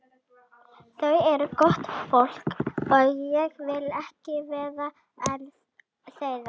Þau eru gott fólk og ég vil ekki vera án þeirra.